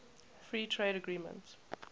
free trade agreement